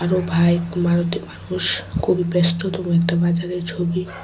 মানুষ খুবই ব্যস্ততম একটা বাজারের ছবি।